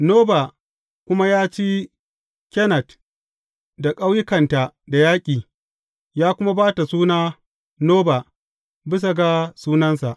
Noba kuma ya ci Kenat da ƙauyukanta da yaƙi, ya kuma ba ta suna Noba, bisa ga sunansa.